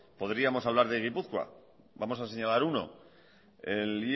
podríamos hablar de gipuzkoa vamos a señalar uno el